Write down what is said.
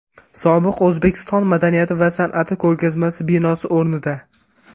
Sobiq O‘zbekiston madaniyati va san’ati ko‘rgazmasi binosi o‘rnida.